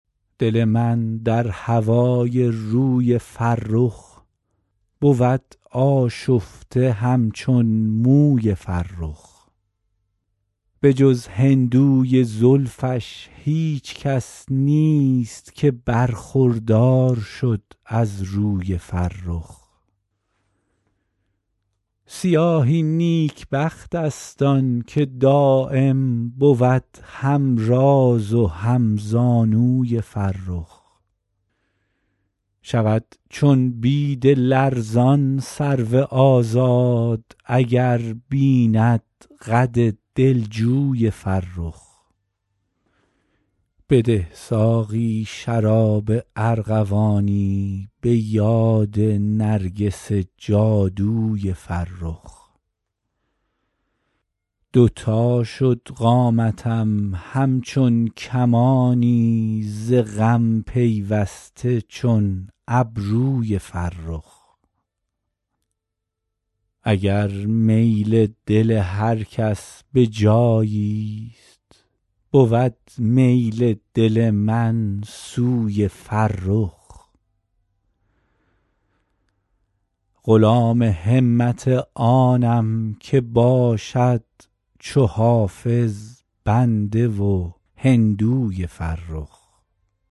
دل من در هوای روی فرخ بود آشفته همچون موی فرخ به جز هندوی زلفش هیچ کس نیست که برخوردار شد از روی فرخ سیاهی نیکبخت است آن که دایم بود هم راز و هم زانوی فرخ شود چون بید لرزان سرو آزاد اگر بیند قد دلجوی فرخ بده ساقی شراب ارغوانی به یاد نرگس جادوی فرخ دو تا شد قامتم همچون کمانی ز غم پیوسته چون ابروی فرخ نسیم مشک تاتاری خجل کرد شمیم زلف عنبربوی فرخ اگر میل دل هر کس به جایی ست بود میل دل من سوی فرخ غلام همت آنم که باشد چو حافظ بنده و هندوی فرخ